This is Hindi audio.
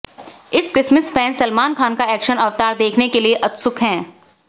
इस क्रिसमस फैंस सलमान खान का एक्शन अवतार देखने के लिए उत्सुक हैं